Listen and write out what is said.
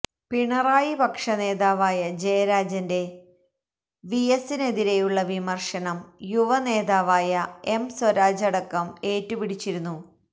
പിണറായി പക്ഷ നേതാവായ ജയരാജന്റെ വിഎസിനെതിരെയുള്ള വിമർശനം യുവ നേതാവായ എം സ്വരാജടക്കം ഏറ്റുപിടിച്ചിരുന്നു